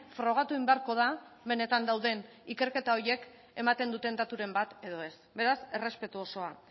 frogatu egin beharko da benetan dauden ikerketa horiek ematen duten daturen bat edo ez beraz errespetu osoa